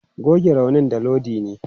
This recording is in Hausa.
Goge raunin da Iodine!